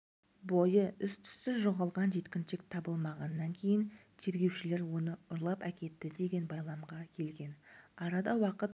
бойы іс-түссіз жоғалған жеткіншек табылмағаннан кейін тергеушілер оны ұрлап әкетті деген байламға келген арада уақыт